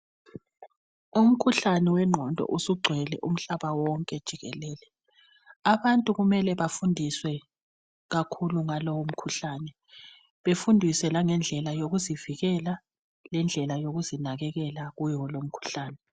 Umkhuhlane wengqondo usugcwele umhlaba wonke jikelele. Abahtu kumele bafundiswe kakhulu, ngawolo umkhuhlane. Bafundiswe ngendlela, yokuzivikela. Lendlela yokuzivikela, kuwo lo umkhuhlane.